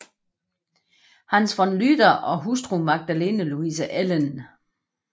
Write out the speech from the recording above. Hans von Lüder og hustru Magdalene Louise Ellen f